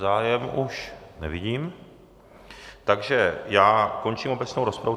Zájem už nevidím, takže já končím obecnou rozpravu.